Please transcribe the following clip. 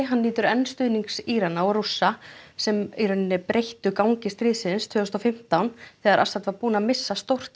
nýtur enn stuðnings Írana og Rússa sem breyttu algjörlega gangi stríðsins tvö þúsund og fimmtán þegar Assad var búinn að missa stórt